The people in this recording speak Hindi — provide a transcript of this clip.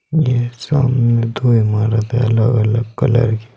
यह सामने दो इमारत है अलग-अलग कलर के।